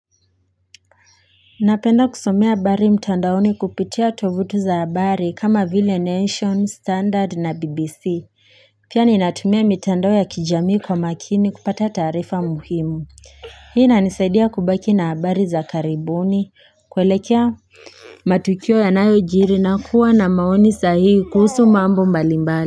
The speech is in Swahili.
Napenda kusomea habari mtandaoni kupitia tovuti za habari kama vile Nation, Standard na BBC. Pia ni natumia mitandao ya kijamii kwa makini kupata taarifa muhimu. Hii inanisaidia kubaki na habari za karibuni. Kuelekea matukio yanayo jiri na kuwa na maoni sahihi kuhusu mambo mbalimbali.